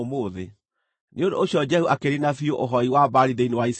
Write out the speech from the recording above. Nĩ ũndũ ũcio Jehu akĩniina biũ ũhooi wa Baali thĩinĩ wa Isiraeli.